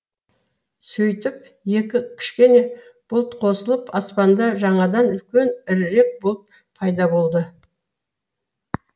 сөйтіп екі кішкене бұлт қосылып аспанда жаңадан үлкен ірірек бұлт пайда болды